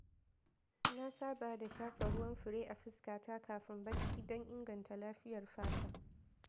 Na saba da shafa ruwan fure a fuskata kafin bacci don inganta lafiyar fata.